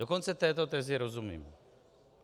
Dokonce této tezi rozumím.